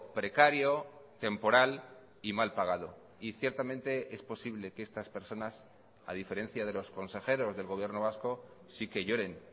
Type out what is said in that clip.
precario temporal y mal pagado y ciertamente es posible que estas personas a diferencia de los consejeros del gobierno vasco sí que lloren